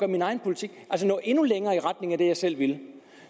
min egen politik altså nå endnu længere i retning af det jeg selv ville